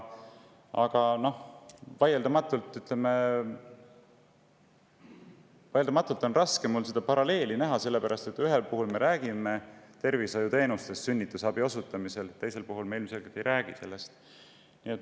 Aga vaieldamatult on raske paralleeli näha, sellepärast et ühel juhul, sünnitusabi osutamisel, me räägime tervishoiuteenusest, teisel juhul me ilmselgelt ei räägi sellest.